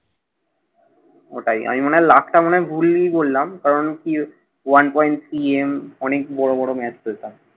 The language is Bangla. ওটাই। আমি মনে হয় লাখটা মনে হয় ভুলই বললাম। কারণ কি, one point CM অনেক বড় বড় match তো এটা।